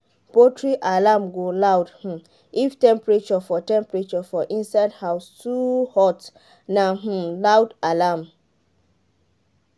poultry alarm go loud um if temperature for temperature for inside house too hot na um loud alarm.